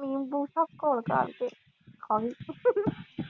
ਨਿੰਬੂ ਸਭ ਘੋਲ-ਘਾਲ ਕੇ ਖਾ ਗਏ।